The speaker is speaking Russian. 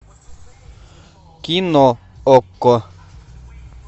кино окко